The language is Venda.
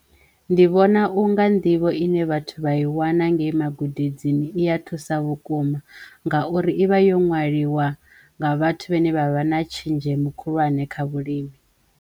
Ndi vhona u nga nḓivho ine vhathu vha i wana ngei magudedzeni i ya thusa vhukuma ngauri ivha yo nwaliwa nga vhathu vhane vha vha na tshenzhemo khulwane kha vhulimi.